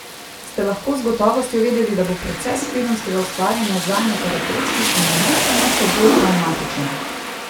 Ste lahko z gotovostjo vedeli, da bo proces filmskega ustvarjanja zanje terapevtski in ne samo še bolj travmatičen?